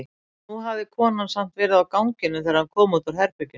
En nú hafði konan samt verið á ganginum þegar hann kom út úr herberginu.